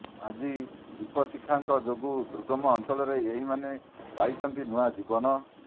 ଆଜି ଦିପଶିଖାଙ୍କ ଯୋଗୁଁ ଦୁର୍ଗମ ଅଂଚଳର ଏହିମାନେ ପାଇଛନ୍ତି ନୂଆ ଜୀବନ